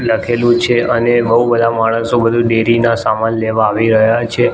લખેલું છે અને બઉ બધા માણસો બધું ડેરી નાં સામાન લેવા આવી રહ્યા છે.